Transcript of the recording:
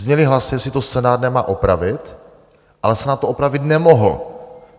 Zněly hlasy, jestli to Senát nemá opravit, ale Senát to opravit nemohl.